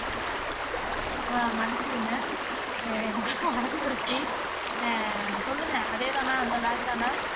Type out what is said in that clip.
ஆஹ் மன்னிச்சிடுங்க ஆஹ் மறந்துருச்சு ஆஹ் சொல்லுங்க அதேதானா அந்த bag தான